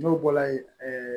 N'o bɔra ye